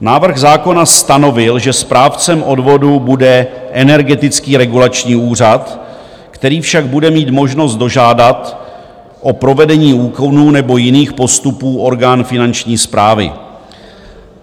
Návrh zákona stanovil, že správcem odvodů bude Energetický regulační úřad, který však bude mít možnost dožádat o provedení úkonů nebo jiných postupů orgán Finanční správy.